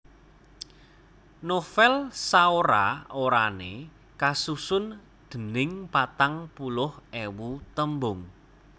Novèl saora orané kasusun dèning patang puluh ewu tembung